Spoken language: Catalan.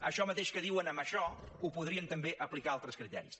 això mateix que diuen en això ho podrien també aplicar a altres criteris